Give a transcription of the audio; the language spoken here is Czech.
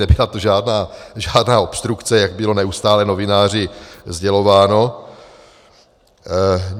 Nebyla to žádná obstrukce, jak bylo neustále novináři sdělováno.